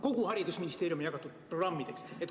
Kogu haridusministeeriumi eelarve on jagatud programmideks.